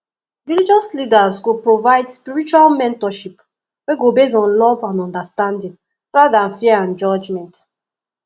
religious leaders go provide spiritual mentorship wey go base on love and understanding rather than fear and judgment